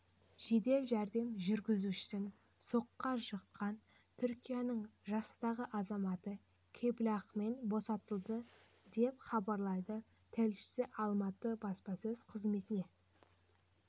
жедел жәрдем жүргізушісін соққыға жыққан түркияның жастағы азаматы кепілақымен босатылды деп хабарлайды тілшісі алматы баспасөз қызметіне